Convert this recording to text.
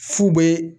Fu bɛ